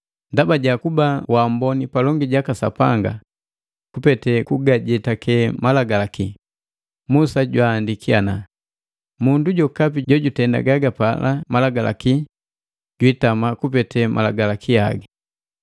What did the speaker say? Ndaba ja kuba waamboni palongi jaka Sapanga kupete kugajetake Malagalaki, Musa jwaandiki ana, “Mundu jokapi jojutenda gagapala Malagalaki jwiitama kupete Malagalaki haga.”